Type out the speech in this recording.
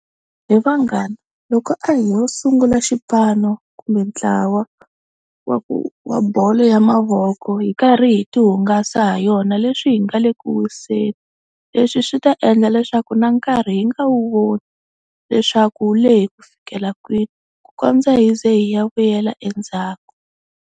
He vanghana loko a ho sungula xipano kumbe ntlawa wa wa bolo ya mavoko hi karhi hi tihungasa ha yona, leswi hi nga le ku wiseni. Leswi swi ta endla leswaku na nkarhi hi nga wu voni leswaku wu lehi ku fikela kwini ku kondza hi ze hi ya vuyela endzhaku.